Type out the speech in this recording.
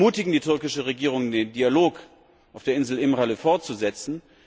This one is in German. Wir ermutigen die türkische Regierung, den Dialog auf der Insel İmralı fortzusetzen.